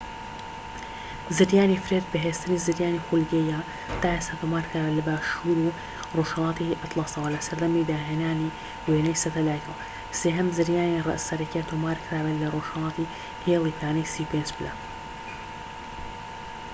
زریانی فرێد بەهێزترین زریانی خولگەییە تا ئێستا تۆمار کرابێت لە باشوور و ڕۆژهەلاتی ئەتلەسەوە لە سەردەمی داهێنانی وێنەی سەتەلایتەوە، سێهەم زریانی سەرەکیە تۆمار کرابێت لە رۆژهەڵاتی هێلی پانی ٣٥ پلە